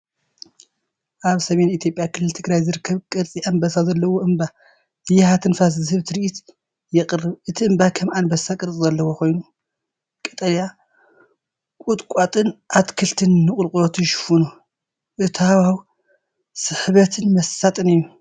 ኣብ ሰሜን ኢትዮጵያ ክልል ትግራይ ዝርከብ ቅርጺ ኣንበሳ ዘለዎ እምባ ያሃ ትንፋስ ዝህብ ትርኢት የቕርብ። እቲ እምባ ከም ኣንበሳ ቅርጺ ዘለዎ ኮይኑ፡ ቀጠልያ ቁጥቋጥን ኣትክልትን ንቁልቁለቱ ይሽፍኖ። እቲ ሃዋህው ስሕበትን መሳጥን እዩ።